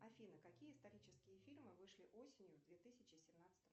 афина какие исторические фильмы вышли осенью две тысячи семнадцатого